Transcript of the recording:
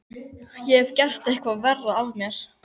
Ég hefði getað gert eitthvað verra af mér.